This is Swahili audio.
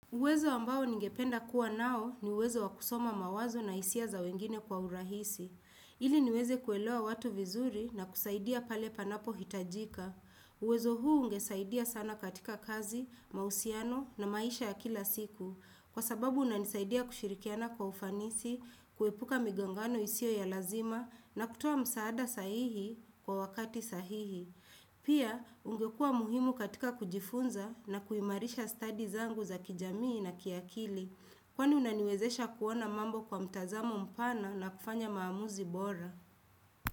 Uwezo ambao ningependa kuwa nao ni uwezo wakusoma mawazo na hisia za wengine kwa urahisi. Ili niweze kuelewa watu vizuri na kusaidia pale panapo hitajika. Uwezo huu ungesaidia sana katika kazi, mausiano na maisha ya kila siku. Kwa sababu unanisaidia kushirikiana kwa ufanisi, kuepuka migongano isio ya lazima, na kutuoa msaada sahihi kwa wakati sahihi. Pia ungekua muhimu katika kujifunza na kuimarisha studies angu za kijamii na kiakili kwani unaniwezesha kuona mambo kwa mtazamo mpana na kufanya maamuzi bora.